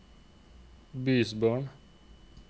bysbarn